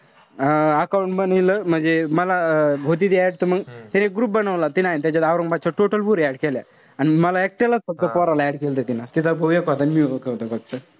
अं account बनवील. म्हणजे मला होती ती add त मंग तिने एक group बनवला. तीन ए ना त्याच्यात औरंगाबादच्या total पोरी add केल्या. अन मला एकट्यालाच फक्त पोराला add केलंत तिनं. तिचा भाऊ एक होता अन मी होतो फक्त.